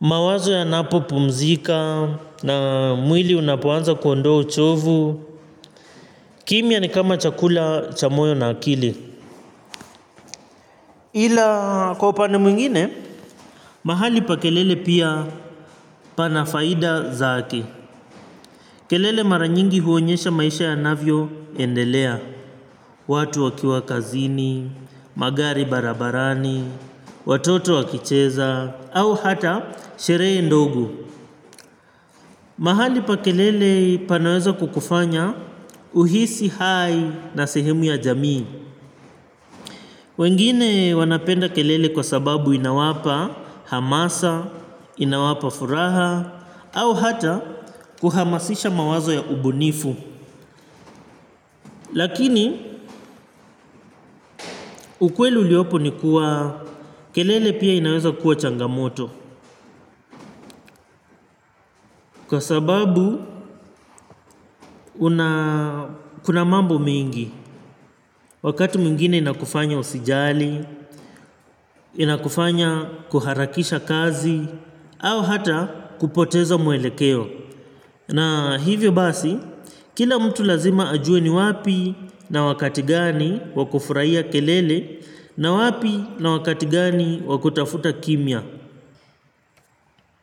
Mawazo yanapopumzika na mwili unapoanza kuondoa uchovu. Kimya ni kama chakula cha moyo na akili. Ila kwa upande mwingine, mahali pa kelele pia pana faida zake. Kelele mara nyingi huonyesha maisha yanavyoendelea. Watu wakiwa kazini, magari barabarani, watoto wakicheza, au hata sheree ndogo. Mahali pa kelele panaweza kukufanya uhisi hai na sehemu ya jamii. Wengine wanapenda kelele kwa sababu inawapa hamasa, inawapa furaha, au hata kuhamasisha mawazo ya ubunifu. Lakini ukweli uliopo ni kuwa kelele pia inaweza kuwa changamoto. Kwa sababu una kuna mambo mingi. Wakati mwingine inakufanya usijali, inakufanya kuharakisha kazi, au hata kupoteza mwelekeo. Na hivyo basi, kila mtu lazima ajue ni wapi na wakati gani wa kufuraia kelele na wapi na wakati gani wa kutafuta kimya.